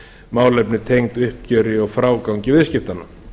málefni tengd uppgjöri og frágangi viðskiptanna